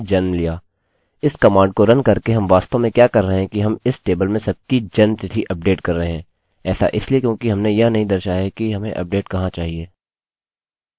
किन्तु हम कर सकते हैं इसके बाद हम लिख सकते हैं where id=6 क्योंकि मेरी यूनिक id 6 है